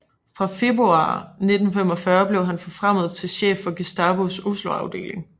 Fra februar 1945 blev han forfremmet til chef for Gestapos Oslo afdeling